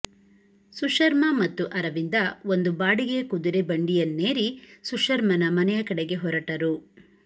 ಸುಶರ್ಮ ಮತ್ತು ಅರವಿಂದ ಒಂದು ಬಾಡಿಗೆಯ ಕುದುರೆ ಬಂಡಿಯನ್ನೇರಿ ಸುಶರ್ಮನ ಮನೆಯ ಕಡೆಗೆ ಹೊರಟರು